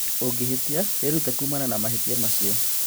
Ũngĩhĩtia, wĩrute kuumana na mahĩtia macio.